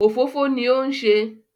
Òfófó ni ó ń se